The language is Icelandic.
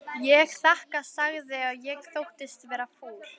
Ég þakka sagði ég og þóttist vera fúl.